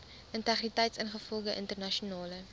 integriteit ingevolge internasionale